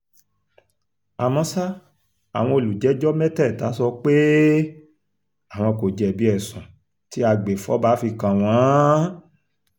àmọ́ ṣá àwọn olùjẹ́jọ́ mẹ́tẹ̀ẹ̀ta sọ pé um àwọn kò jẹ̀bi ẹ̀sùn tí agbèfọ́ba fi kàn wọ́n um